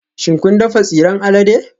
Shin kun dafa tsiran alade?